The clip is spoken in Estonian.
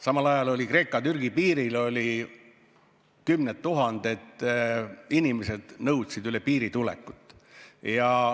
Samal ajal olid Kreeka-Türgi piiril kümned tuhanded inimesed, kes nõudsid üle piiri tulekut.